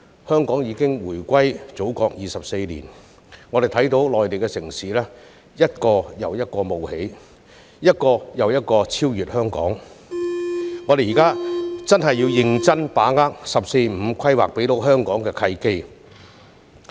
香港已回歸祖國24年，在這段期間，我們看到內地城市一個又一個冒起，並超越香港，因此我們現在真的要認真把握"十四五"規劃所給予香港的契機。